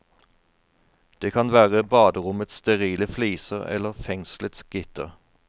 Det kan være baderommets sterile fliser eller fengselets gitter.